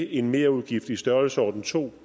en merudgift i størrelsesordenen to